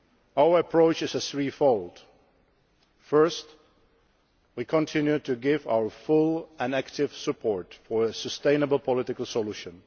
Our approach is threefold. Firstly, we continue to give our full and active support for a sustainable political solution.